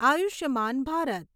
Ayushman Bharat